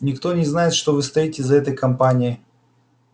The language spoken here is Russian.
никто не знает что вы стоите за этой кампанией